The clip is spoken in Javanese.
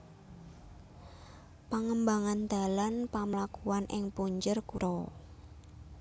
Pangembangan dalan pamlakuan ing punjer kutha